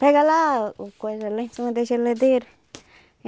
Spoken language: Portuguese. Pega lá o coisa lá em cima da geladeira.